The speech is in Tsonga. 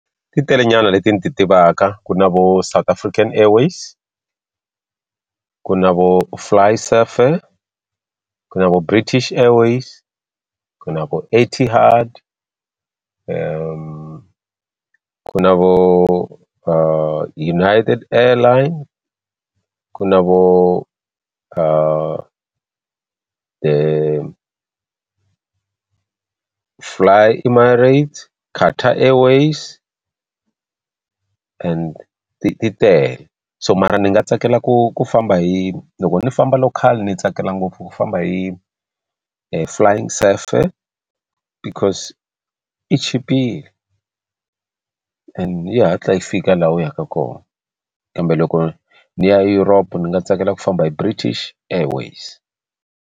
Ti telenyana leti ni ti tivaka ku na vo South African Airways ku na vo Fly s_f_a_r ku na vo British Airways ku na vo Etihad ku ku na vo United Airline ku na vo fly Emirates Qatar Airways and ti ti tele so mara ni nga tsakela ku ku famba hi loko ni famba local ni tsakela ngopfu ku famba hi flying Safair because i chipile and yi hatla yi fika laha u yaka kona kambe loko ni ya Europe ni nga tsakela ku famba hi British Airways.